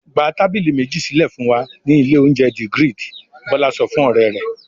"Gba tábìlì méjì sílẹ̀ fún wa ní ilé-oúnjẹ The Grid!" Bọ́lá sọ fún ọ̀rẹ́ rẹ̀.